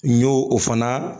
N y'o o fana